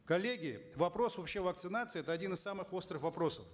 коллеги вопрос вообще вакцинации это один из самых острых вопросов